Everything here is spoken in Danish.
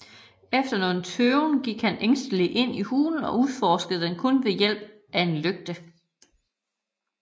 Efter nogen tøven gik han ængsteligt ind i hulen og udforskede den kun ved hjælp af en lygte